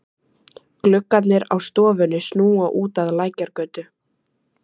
Gluggarnir á stofunni snúa út að Lækjargötu.